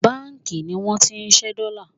banki ni won ti nse dollar